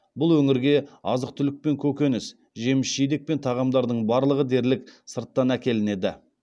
бұл өңірге азық түлік пен көкөніс жеміс жидек пен тағамдардың барлығы дерлік сырттан әкелінеді